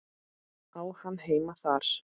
Á hann heima þar?